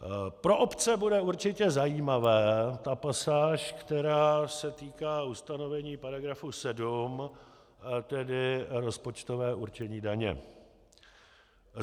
Pro obce bude určitě zajímavá ta pasáž, která se týká ustanovení paragrafu 7, tedy rozpočtového určení daně.